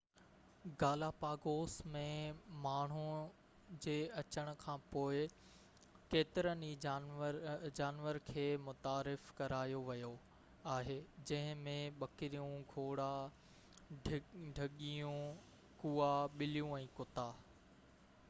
Galapagos ۾ ماڻهو جي اچڻ کانپوءِ ڪيترن ئي جانور کي متعارف ڪرايو ويو آهي جنهن ۾ ٻڪريون گهوڙا ڍڳيون ڪئا ٻليون ۽ ڪتا